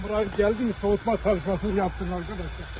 Ambulans gəldimi, soyutma çalışmasını yapın, qardaşlar.